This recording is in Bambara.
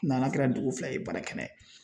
na n'a kɛra dugu fila ye baara kɛnɛ